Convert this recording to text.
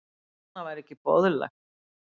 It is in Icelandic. Annað væri ekki boðlegt